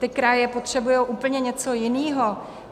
Ty kraje potřebují úplně něco jiného.